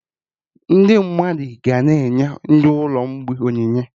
Ndị mmadụ ga na-enye ndị ụlọ mgbei onyinye